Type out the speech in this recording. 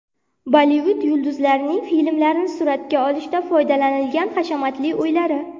Bollivud yulduzlarining filmlarni suratga olishda foydalanilgan hashamatli uylari .